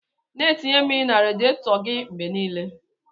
Na atinye mmiri na radietor gi mgbe nile.